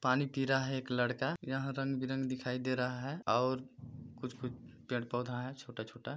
पानी पी रहा है एक लड़का यह रंग-बिरंग दिखाई दे रहा है और कुछ-कुछ पेड़-पौधा है छोटा-छोटा--